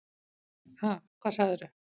Ha, hvað sagðir þú?